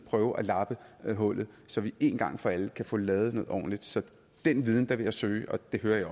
prøve at lappe hullet og så vi én gang for alle kan få lavet noget ordentligt så den viden vil jeg søge og det hører jeg